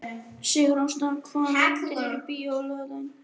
Sigurásta, hvaða myndir eru í bíó á laugardaginn?